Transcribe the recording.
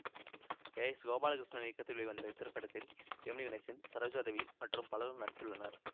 K S Gopalakrishnan இயக்கத்தில் வெளிவந்த இத்திரைப்படத்தில் ஜெமினி கணேசன் சரோஜா தேவி மற்றும் பலரும் நடித்துள்ளனர்